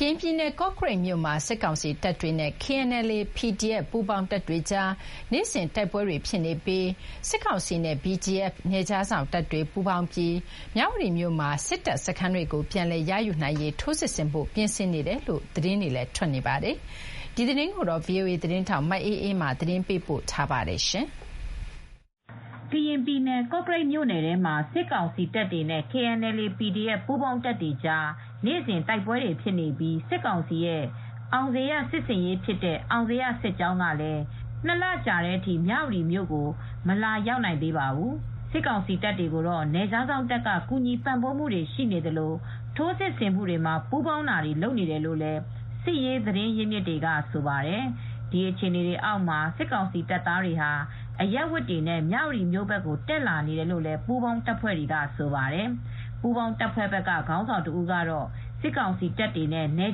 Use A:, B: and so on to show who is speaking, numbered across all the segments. A: ကရင်ပြည်နယ် ကော့ကရိတ်မြို့မှာ စစ်ကောင်စီတပ်တွေနဲ့ KNLA /PDF ပူးပေါင်းတပ်တွေကြား တိုက်ပွဲတွေ နေ့စဥ်ဖြစ်နေပါတယ်။ စစ်ကောင်စီနဲ့ BGF နယ်ခြားစောင့်တပ်တွေ ပူးပေါင်းပြီး မြဝတီမြို့မှာ စစ်တပ်စခန်းတွေကိုပြန်လည်ရယူနိုင်ရေး ထိုးစစ်ဆင်ဖို့ပြင်ဆင်နေတယ်လို့ သတင်းတွေထွက်နေပါတယ်။ ဒီသတင်းကို ဗွီအိုအေသတင်းထောက်မအေးအေးမာက သတင်းပေးပို့ထားပါတယ်။ ကရင်ပြည်နယ် ကော့ကရိတ်မြို့မှာ စစ်ကောင်စီတပ်တွေနဲ့ KNLA /PDF ပူးပေါင်းတပ်တွေကြား နေ့စဉ် တိုက်ပွဲတွေဖြစ်နေပြီး စစ်ကောင်စီရဲ့ အောင်ဇေယျစစ်ဆင်ရေးဖြစ်တဲ့ အောင်ဇေယျစစ်ကြောင်းကလည်း ၂ လကြာတဲ့အထိ မြဝတီကို မလာရောက်နိုင်သေးပါဘူး။ စစ်ကောင်စီတပ်တွေကိုတော့ နယ်ခြားစောင့်တပ်က ကူညီပံ့ပိုးမူတွေရှိသလို ထိုးစစ်ဆင်မှုတွေမှာ ပူးပေါင်းတာတွေလုပ်နေတယ်လို့လည်း စစ်ရေးသတင်းရင်းမြစ်တွေကဆိုပါတယ်။ ဒီအခြေအနေအောက်မှာ စစ်ကောင်စီတပ်သားတွေဟာ အရပ်ဝတ်တွေနဲ့ မြဝတီဘက်ကို တက်လာနေတယ်လို့လည်း ပူးပေါင်းတပ်တွေကဆိုပါတယ်။ ပူးပေါင်းတပ်ဘက်က ခေါင်းဆောင်တဦးကတော့ စစ်ကောင်စီတပ်တွေနဲ့ နယ်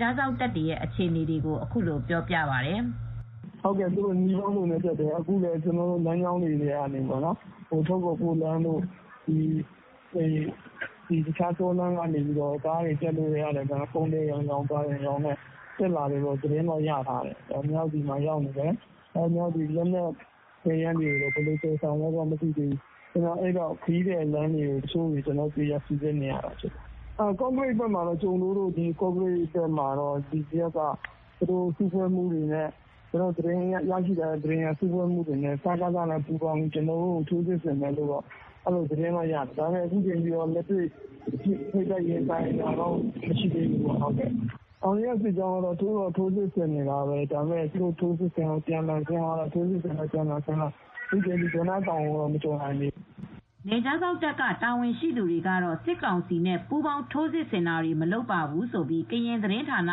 A: ခြားစောင့်တပ်တွေ အခြေအနေကို အခုလိုပြောပါတယ်။
B: "သူတို့နည်းပေါင်းစုံနဲ့တက်တယ်။ ထိုကေ့ာကိုးလမ်းတွေ၊ ကားတွေသယ်ဆောင်တဲ့လမ်းတွေကနေ ကုန်သည်လို နည်းမျိုးစုံနဲ့တက်လာတယ်လို့သတင်းရတယ်။ မြဝတီမှာရောက်နေတယ်။ ဒါပေမဲ့ လက်နက်တွေကတော့ ဘယ်လိုသယ်ကြမယ်ဆိုတာတော့မသိဘူး။ ကျနော်တို့က ခရီးသည်လမ်းတွေကို ပိုပြီး စီစစ်နေရတယ်။ ကော့ကရိတ်ဘက်၊ ကျုံဒိုးတို့ဘက်မှာတော့ BGF တွေက စကစနဲ့ပူးပေါင်းပြီး ကျနော်တို့ကို တိုက်မယ်။ ထိုးစစ်ဆင်မယ်လို့သတင်းရထားတယ်။ စုဖွဲ့မှုတွေလုပ်တယ်ကြားတယ်။ ဒါပေမယ့် လက်တွေ့မှာတော့ BGF နဲ့ ထိပ်တိုက်ရင်ဆိုင်တာတော့ မရှိသေးဘူး။ အောင်ဇေယျစစ်ကြောင်းကတော့ သူတို့က ထိုးစစ်ဆင်နေတာပဲ။ ဒါပေမယ့် ထိုးစစ်ဆင်လိုက် အပြန်အလှန်တိုက်လိုက်နဲ့။ သူတို့က ဒေါနတောင်ကိုတေ့ာ မကျော်နိုင်သေးဘူး။
A: " နယ်ခြားစောင့်တပ်က တာဝန်ရှိသူတွေကတော့ စစ်ကောင်စီနဲ့ပူးပေါင်းထိုးစစ်ဆင်တာတွေ မလုပ်ပါဘူးလို့ ကရင်သတင်းဌာန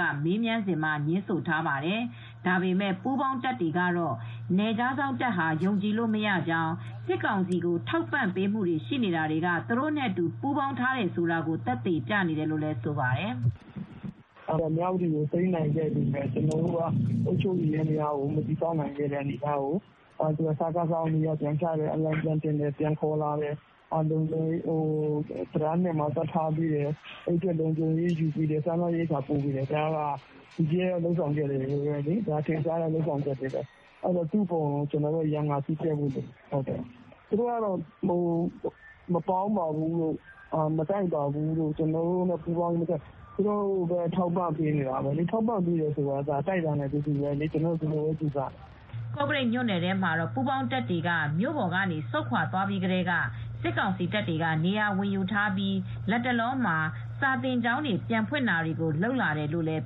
A: က မေးမြန်းစဉ်မှာ ငြင်းဆိုထားပါတယ်။ ဒါပေမယ့် ပူးပေါင်းတပ်တွေကတော့ နယ်ခြားစောင့်တပ်ဟာ ယုံကြည်လို့မရကြောင်းစစ်ကောင်စီကိုထောက်ပံ့ပေးနေတာတွေက သူတို့အတူ ပူးပေါင်းထားတယ်ဆိုတာကို သက်သေပြနေတယ်လို့ ပြောပါတယ်။ "
B: မြဝတီကိုသိမ်းနိုင်ခဲ့ပေမယ့် ကျနော်တို့က အုပ်ချုပ်ရေးယန္တယားကို မတည်ဆောက်နိုင်ခဲ့တဲ့အနေအထားကို သူတို့က (BGF) စကစကိုအလံပြန်တင်ပေးတယ်။ ပြန်ခေါ်လာတယ်။ ပြီးတော့ တံတား ၂ မှာလည်း တပ်ထားပေးတယ်။ လုံခြုံရေးယူပေးတယ်။ စားနပ်ရိက္ခာပို့တယ်။ အဲဒါ BGF ရဲ့လုပ်ဆောင်ချက်ပဲလေ။ ထင်ရှားတဲ့လုပ်ဆောင်ချက်တွေ သူနဲ့ပတ်သက်လို့ကျနော်တို့က ရန်ငါစည်းပြတ်ဖို့လိုတယ်။ BGF - သူတို့ကတော့ မပေါင်းပါဘူးလို့ ကျနော်တို့ကမတိုက်ပါဘူးလို့ ပြောပေမယ့် သူတို့က စကစ ကို ထောက်ပံ့ပေးနေတာပဲလေ။ ထောက်ပံ့ပေးနေတယ်ဆိုကတည်းက အဲဒါ သူတို့ ဝိုင်းတိုက်ပေးနေတယ်လို့ ကျနော်တို့က ဒီလိုပဲယူဆပါတယ
A: ်။" ကော့ကရိတ်မြို့နယ်ထဲမှာတော့ ပူးပေါင်းတပ်တွေက မြို့ပေါ်ကနေ ဆုတ်ခွါသွားပြီးကတည်းက စစ်ကောင်စီတပ်တွေက နေရာဝင်ယူထားပြီး လတ်တလောမှာ ကျောင်းတွေပြန်ဖွင့်တာတွေကိုလုပ်လာတယ်လို့လည်း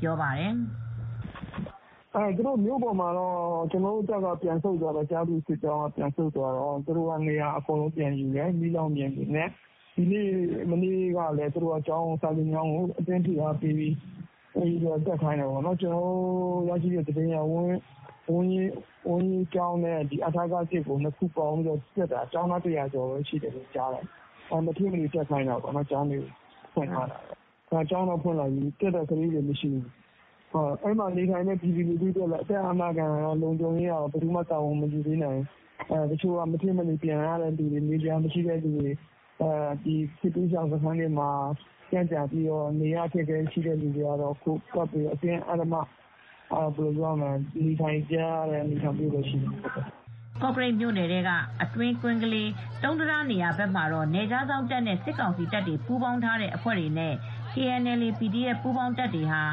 A: ပြောပါတယ်
B: ။ "ကော့ကရိတ်မြို့ပေါ်မှာ ကျနော်တို့ကျားဖြူစစ်ကြောင်းက ပြန်ဆုတ်သွားတော့ သူတို့က နေရာဝင်ယူထားတယ်။ မီးလောင်ပြင်တွေမှာပဲ။ ဒီနေ့မှာပဲ အဲဒီကော့ကရိတ်က ဝမ်းရေးကျောင်းနဲ့ အထက ၁ ကို နှစ်ခုပေါင်းပြီး အတင်းပြန်ဖွင့်ခိုင်းတော့ ကျောင်းသား ၁၀၀ လောက်တော့တက်မယ်။ ကျောင်းတော့ ဖွင့်လိုက်ပြီ။ တက်တဲ့ကလေးတွေက သိပ်မရှိဘူး။ အဲဒီမှာနေထိုင်တဲ့ အသက်အာမခံအတွက် လုံခြုံရေးအတွက်ကလည်း ဘယ်သူမှ လည်း တာဝန်မယူပေးနိုင်ဘူး။ တချို့က မဖြစ်မနေပြန်ရတယ်။ နေစရာမရှိတာ၊ စစ်ဘေးရှောင်နေရာမှာ ခက်ခဲနေတော့ မဖြစ်မနေ နေထိုင်နေရတာပဲရှိတယ်။" ကော့ကရိ
A: တ်မြို့နယ်ထဲက အတွင်းကွင်းကလေး၊ တုံးတံတားနေရာဘက်မှာတော့ နယ်ခြားစောင့်တပ်နဲ့ စစ်ကောင်စီတပ်တွေ ပူးပေါင်းထားတဲ့အဖွဲ့နဲ့ KNLA/PDF ပူးပေါင်းတပ်တွေ၊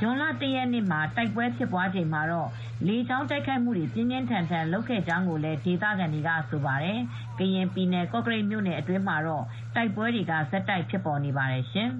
A: ဇွန်လ ၁ ရက် နေ့တိုက်ပွဲဖြစ်ချိန်မှာ လေကြောင်းတိုက်ခိုက်မှုတွေ ပြင်းပြင်းထန်ထန်ဖြစ်ခဲ့တယ်လို့လည်း ဒေသခံတွေဆိုပါတယ်။ ကရင်ပြည်နယ် ကော့ကရိတ်မြို့နယ်အတွင်းမှာတော့ တိုက်ပွဲတွေကတော့ ဆက်တိုက်ဖြစ်ပေါ်နေပါတယ်ရှင်။